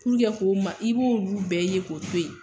ko ma i b'olu bɛɛ ye Ko to yen.